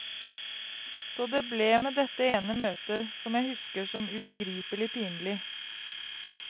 Så det ble med dette ene møtet, som jeg husker som ubegripelig pinlig.